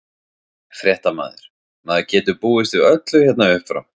Fréttamaður: Maður getur búist við öllu hérna uppfrá?